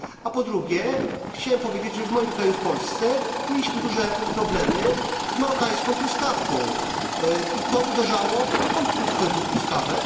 A po drugie chciałbym powiedzieć, że w moim kraju, w Polsce, mieliśmy duże problemy z marokańską truskawką, co uderzało w polskich producentów truskawek.